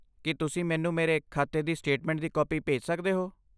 ਕੀ ਤੁਸੀਂ ਮੈਨੂੰ ਮੇਰੇ ਖਾਤੇ ਦੀ ਸਟੇਟਮੈਂਟ ਦੀ ਕਾਪੀ ਭੇਜ ਸਕਦੇ ਹੋ?